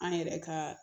An yɛrɛ ka